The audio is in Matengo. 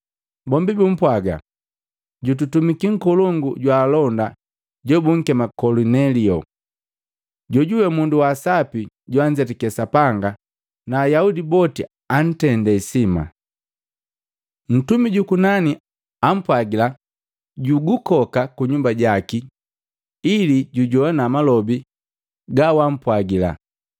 Bombi bapwaga, “Jututumiki nkolongu jwa alonda jobunkema Kolinelio, jojuwe mundu wa asapi joanzetake Sapanga na Ayaudi boti antende isima. Ntumi jukunani ampwagila jukukoka kunyumba jaki ili jujowana malobi gawampwagila.”